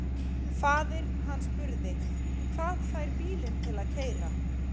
Faðir hann spurði: Hvað fær bílinn til að keyra?